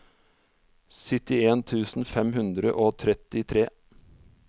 syttien tusen fem hundre og trettitre